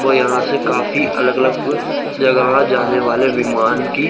वह यहा से काफी अलग अलग जगह जाने वाली विमान कि--